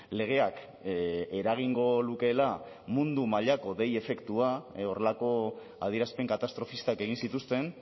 legeak eragingo lukeela mundu mailako dei efektua horrelako adierazpen katastrofistak egin zituzten